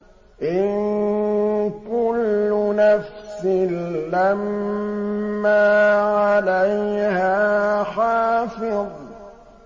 إِن كُلُّ نَفْسٍ لَّمَّا عَلَيْهَا حَافِظٌ